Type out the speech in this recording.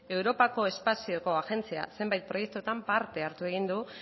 europako espazioko agentzia zenbait proiektuetan parte hartu egin du